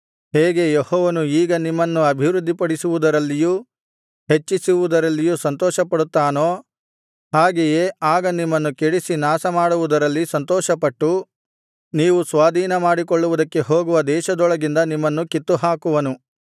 ಹೇಗೆ ಯೆಹೋವನು ಈಗ ನಿಮ್ಮನ್ನು ಅಭಿವೃದ್ಧಿಪಡಿಸುವುದರಲ್ಲಿಯೂ ಹೆಚ್ಚಿಸುವುದರಲ್ಲಿಯೂ ಸಂತೋಷಪಡುತ್ತಾನೋ ಹಾಗೆಯೇ ಆಗ ನಿಮ್ಮನ್ನು ಕೆಡಿಸಿ ನಾಶಮಾಡುವುದರಲ್ಲಿ ಸಂತೋಷಪಟ್ಟು ನೀವು ಸ್ವಾಧೀನಮಾಡಿಕೊಳ್ಳುವುದಕ್ಕೆ ಹೋಗುವ ದೇಶದೊಳಗಿಂದ ನಿಮ್ಮನ್ನು ಕಿತ್ತುಹಾಕುವನು